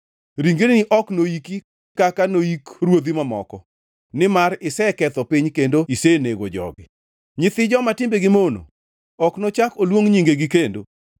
ringreni ok noiki kaka noik ruodhi mamoko nimar iseketho piny kendo isenego jogi. Nyithi joma timbegi mono ok nochak oluong nyingegi kendo.